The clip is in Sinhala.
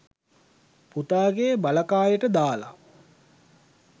පුතාගේ බලකායට දාලා